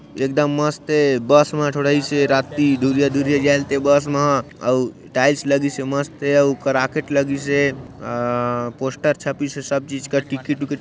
एक दम मस्त ए बस में थोड़ा आइसे रात की में दूरिहा-दूरिहा जाईल ते बस अऊ टाइल्स लगी से मस्त कराकेट लगीसे अ पोस्टर छपीसे सब चीज का टिकिट उकीट--